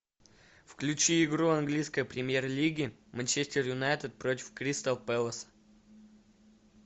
включи игру английской премьер лиги манчестер юнайтед против кристал пэлас